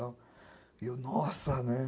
E eu, nossa, né?